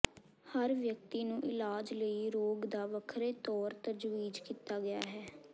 ਹਰ ਵਿਅਕਤੀ ਨੂੰ ਇਲਾਜ ਲਈ ਰੋਗ ਦਾ ਵੱਖਰੇ ਤੌਰ ਤਜਵੀਜ਼ ਕੀਤਾ ਗਿਆ ਹੈ